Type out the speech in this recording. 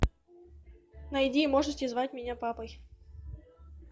найди можете звать меня папой